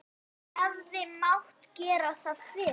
Hefði mátt gera það fyrr?